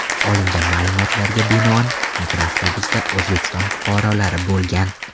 Olingan ma’lumotlarga binoan, mikroavtobusda O‘zbekiston fuqarolari bo‘lgan.